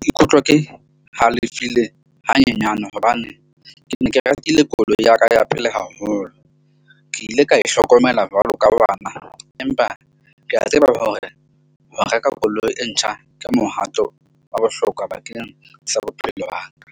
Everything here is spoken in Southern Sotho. Ke ikutlwa ke halefile hanyenyane hobane ke ne ke rekile koloi ya ka. Ya pele haholo ke ile ka e hlokomela jwalo ka bana, empa ke a tseba hore ho reka koloi e ntjha ka mohato wa bohlokwa bakeng sa bophelo ba ka.